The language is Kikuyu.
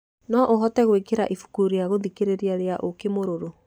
no ũhote gũĩkĩra ibuku rĩa gũthikĩrĩria rĩa ũũkĩ mũrũrũ